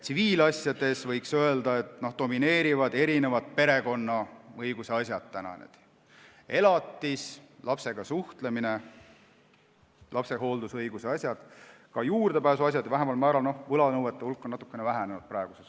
Tsiviilasjades, võiks öelda, domineerivad perekonnaõiguse asjad: elatis, lapsega suhtlemine, lapsehooldusõigus, ka juurdepääsuasjad, võlanõuete hulk on praegu natukene vähenenud.